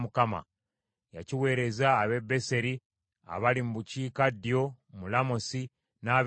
Yakiweereza ab’e Beseri, abaali mu bukiikaddyo mu Lamosi n’ab’e Yattiri,